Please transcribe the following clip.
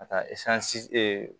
Ka taa